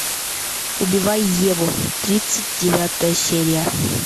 убивая еву тридцать девятая серия